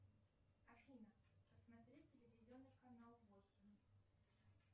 афина посмотреть телевизионный канал восемь